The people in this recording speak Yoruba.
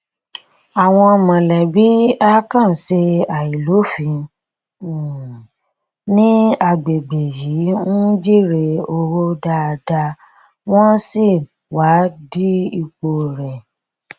àwọn mọlẹbí àkànṣe àìlófin um ní agbègbè yìí ń jèrè owó dáadáa wọn sì wá di ipò rẹ